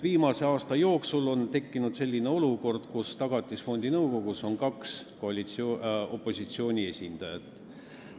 Viimase aasta jooksul on tekkinud olukord, kus Tagatisfondi nõukogus on kaks opositsiooni esindajat.